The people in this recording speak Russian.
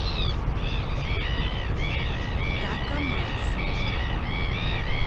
такамацу